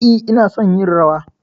E, ina son yin rawa.